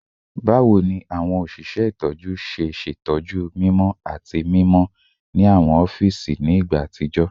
Bawo ni awọn oṣiṣẹ itọju ṣe ṣetọju mimọ ati mimọ ni awọn ọfiisi ni igba atijọ?